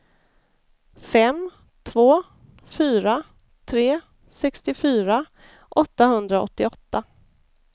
fem två fyra tre sextiofyra åttahundraåttioåtta